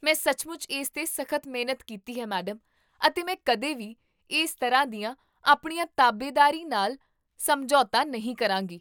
ਮੈਂ ਸੱਚਮੁੱਚ ਇਸ 'ਤੇ ਸਖ਼ਤ ਮਿਹਨਤ ਕੀਤੀ ਹੈ, ਮੈਡਮ, ਅਤੇ ਮੈਂ ਕਦੇ ਵੀ ਇਸ ਤਰ੍ਹਾਂ ਦੀਆਂ ਆਪਣੀਆਂ ਤਾਬੇਦਾਰੀ ਨਾਲ ਸਮਝੌਤਾ ਨਹੀਂ ਕਰਾਂਗੀ